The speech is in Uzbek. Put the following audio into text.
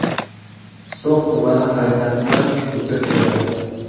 So‘x tumani xaritasidan o‘chirib qo‘yamiz.